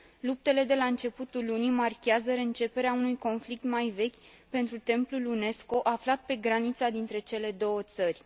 Luptele de la începutul lunii marchează reînceperea unui conflict mai vechi pentru templul UNESCO aflat pe granița dintre cele două țări.